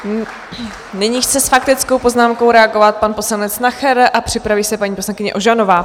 Nyní chce s faktickou poznámkou reagovat pan poslanec Nacher a připraví se paní poslankyně Ožanová.